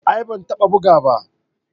A'a ban taba buga ba.